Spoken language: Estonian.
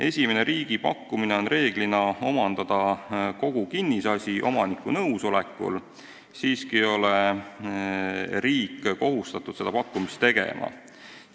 Esimene riigi pakkumine on reeglina omandada kogu kinnisasi omaniku nõusolekul, samas ei ole riik kohustatud seda pakkumist tegema.